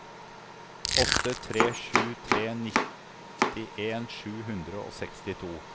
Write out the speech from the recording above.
åtte tre sju tre nittien sju hundre og sekstito